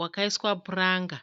wakaiswa puranga.